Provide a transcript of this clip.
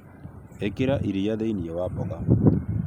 Ikira iria thĩinĩ wa mboga